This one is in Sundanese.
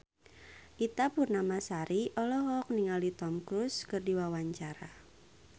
Ita Purnamasari olohok ningali Tom Cruise keur diwawancara